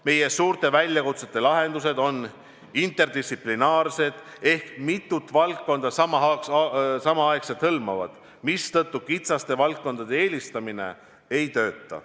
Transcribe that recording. Meie suurte väljakutsete lahendused on interdistsiplinaarsed ehk need hõlmavad samal ajal mitut valdkonda, mistõttu kitsaste valdkondade eelistamine ei toimi.